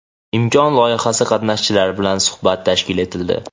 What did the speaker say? "Imkon" loyihasi qatnashchilari bilan suhbat tashkil etildi.